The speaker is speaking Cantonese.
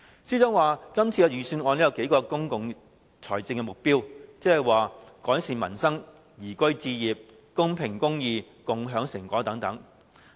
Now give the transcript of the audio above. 司長說今年的預算案有數個公共財政目標，即"改善民生、宜居置業、公平公義、共享成果"。